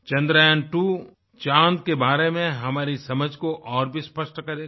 चन्द्रयांत्वो चाँद के बारे में हमारी समझ को और भी स्पष्ट करेगा